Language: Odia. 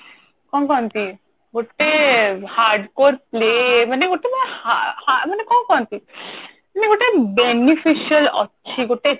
କଣ କହନ୍ତି ଗୋଟେ hardcore play ମାନେ ଗୋଟେ ହା ହା ମାନେ କଣ କହନ୍ତି ମାନେ ଗୋଟେ beneficial ଅଛି ଗୋଟେ